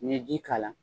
N'i ye ji k'a la